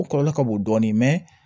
O kɔlɔlɔ ka bon dɔɔni